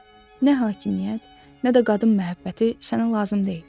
Nə hakimiyyət, nə də qadın məhəbbəti sənə lazım deyil.